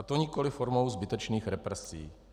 A to nikoliv formou zbytečných represí.